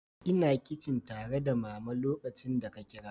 Ina kicin tare da Mama lokacin da ka kira.